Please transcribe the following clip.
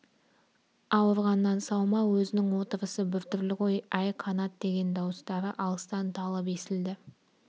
ауырғаннан сау ма өзінің отырысы бір түрлі ғой әй қанат деген дауыстары алыстан талып естілді